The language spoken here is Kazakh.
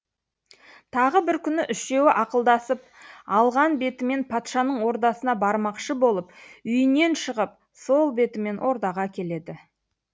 тағы бір күні үшеуі ақылдасып алған бетімен патшаның ордасына бармақшы болып үйінен шығып сол бетімен ордаға келеді